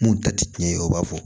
Mun ta ti tiɲɛ ye u b'a fɔ